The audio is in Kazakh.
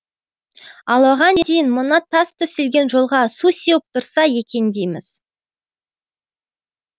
ал оған дейін мына тас төселген жолға су сеуіп тұрса екен дейміз